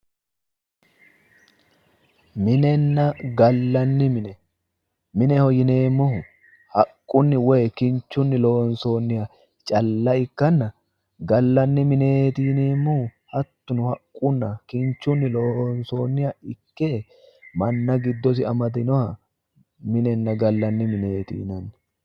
Minenna gallanni mine, mineho yinneemmohu haqquni woyi kinchunni loonsonniha calla ikkanna ,gallanni mineti yinneemmohu hattono kinchunni loonsoniha ikke manna giddosi amadaminoha minenna gallanni mineti yinnanni